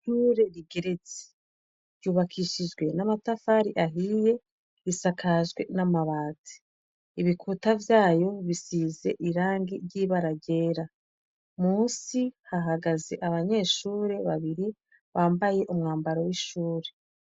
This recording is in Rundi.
Ishure rigeretse, rubakishijwe n'amatafari ahiye, isakajwe n'amabati. Ibikuta vyayo bisize irangi ry'ibara ryera. Munsi hahagaze abanyeshure babiri, bambaye umwambaro w'ishuri.